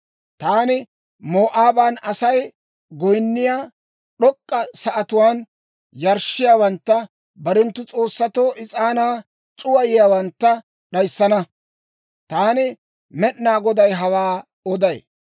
«Taani Moo'aaban Asay goyinniyaa d'ok'k'a sa'atuwaan yarshshiyaawantta barenttu s'oossatoo is'aanaa c'uwayiyaawantta d'ayissana. Taani Med'inaa Goday hawaa oday.